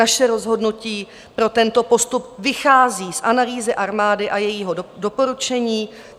Naše rozhodnutí pro tento postup vychází z analýzy armády a jejího doporučení.